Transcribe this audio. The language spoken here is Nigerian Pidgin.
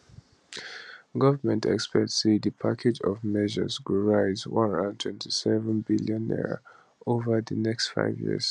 government expect say di package of measures go raise 127bn over di next five years